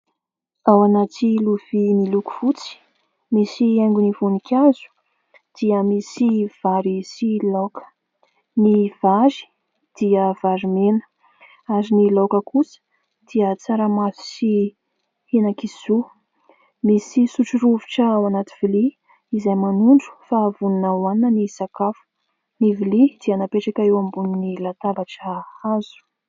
Ao anaty lovia miloko fotsy misy haingony voninkazo dia misy vary sy laoka ; ny vary dia vary mena ary ny laoka kosa dia tsaramaso sy henan-kisoa misy sotro rovitra ao anaty lovia izay manondro fa Vonona hohanina ny sakafo, ny lovia dia napetraka eo ambonin'ny latabatra hazo.